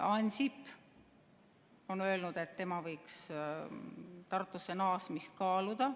Ansip on öelnud, et tema võiks Tartusse naasmist kaaluda.